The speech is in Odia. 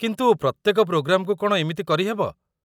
କିନ୍ତୁ ପ୍ରତ୍ୟେକ ପ୍ରୋଗ୍ରାମ୍‌କୁ କ'ଣ ଏମିତି କରିହେବ?